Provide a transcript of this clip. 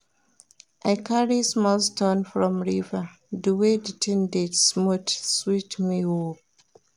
I carry small stone from river di way di tin dey smooth sweet me o.